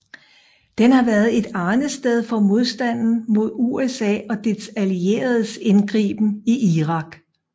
Den har været et arnested for modstanden mod USA og dets allieredes indgriben i Irak